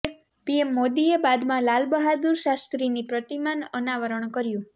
PM મોદીએ બાદમાં લાલ બહાદુર શાસ્ત્રીની પ્રતિમાનં અનાવરણ કર્યું